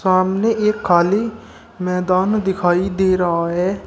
सामने एक खाली मैदान दिखाई दे रहा है।